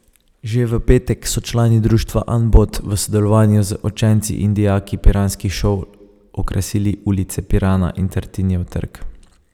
Že v petek so člani društva Anbot v sodelovanju z učenci in dijaki piranskih šol okrasili ulice Pirana in Tartinijev trg.